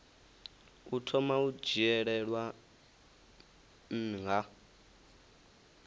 u thoma u dzhielwa nha